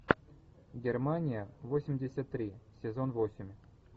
германия восемьдесят три сезон восемь